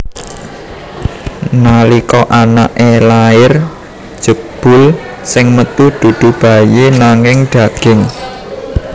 Nalika anaké lair jebul sing metu dudu bayi nanging daging